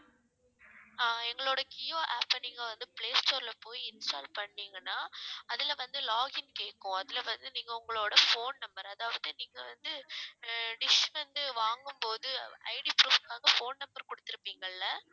அஹ் எங்களோட kio app அ நீங்க வந்து play store ல போய் install பண்ணீங்கன்னா அதுல வந்து login கேக்கும் அதுல வந்து நீங்க உங்களோட phone number அதாவது நீங்க வந்து அஹ் dish வந்து வாங்கும் போது IDproof க்காக phone number குடுத்து இருப்பீங்கல்ல